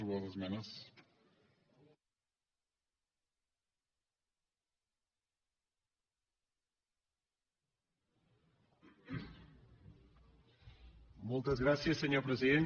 moltes gràcies senyor president